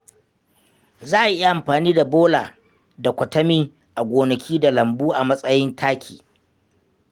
Za a iya amfani da bola da kwatami a gonaki da lambu a matsayin taki.